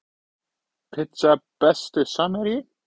pizza Besti samherji?